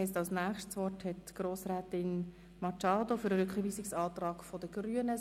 Damit hat Grossrätin Machado das Wort für den Rückweisungsantrag der Grünen.